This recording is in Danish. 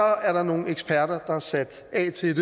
er der nogle eksperter der er sat af til